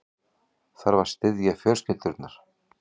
Þarf að styðja fjölskyldurnar